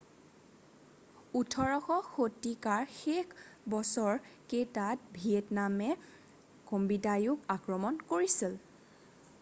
18শ শতিকাৰ শেষৰ বছৰ কেইটাত ভিয়েটনামে কম্বোডিয়াকো আক্ৰমণ কৰিছিল